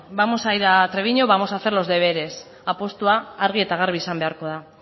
vamos a ir a treviño vamos a hacer los deberes apustua argi eta garbi izan beharko da